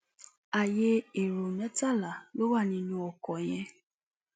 ààyè ẹrọ mẹtàlá ló wà nínú ọkọ yẹn